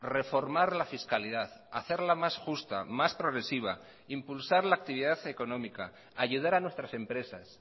reformar la fiscalidad hacerla más justa más progresiva impulsar la actividad económica ayudar a nuestras empresas